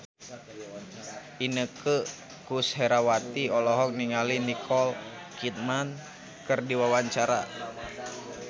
Inneke Koesherawati olohok ningali Nicole Kidman keur diwawancara